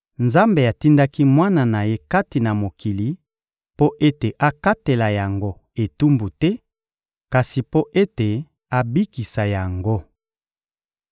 Nzambe atindaki Mwana na Ye kati na mokili mpo ete akatela yango etumbu te, kasi mpo ete abikisa yango.